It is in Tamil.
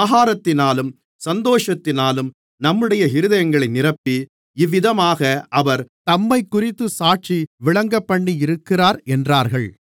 ஆகாரத்தினாலும் சந்தோஷத்தினாலும் நம்முடைய இருதயங்களை நிரப்பி இவ்விதமாக அவர் தம்மைக்குறித்துச் சாட்சி விளங்கப்பண்ணியிருக்கிறார் என்றார்கள்